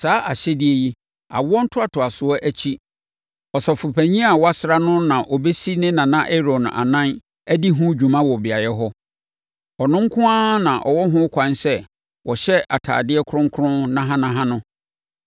Saa ahyɛdeɛ yi, awoɔ ntoatoasoɔ akyi, Ɔsɔfopanin a wɔasra no no na ɔbɛsi ne nana Aaron anan adi ho dwuma wɔ beaeɛ hɔ. Ɔno nko ara na ɔwɔ ho kwan sɛ ɔhyɛ atadeɛ kronkron nahanaha no